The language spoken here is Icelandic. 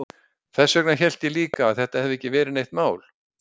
Þess vegna hélt ég líka að þetta hefði ekki verið neitt mál.